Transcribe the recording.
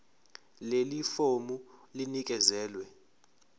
leli fomu linikezelwe